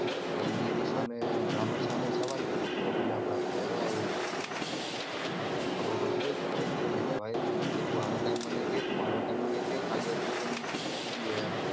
તો ઈ એની સામે બ્રહ્માણ સામે સવાલ કર દિયે વડીલ આપણા તો એવાં હોય ખબર પડતી હોય તો કઈ દે એને કે ભાઈ તું આનો time મને કે તું આનો time મને કે ખાલી આટલું કઈને નીકળી કેમ ગયો એમ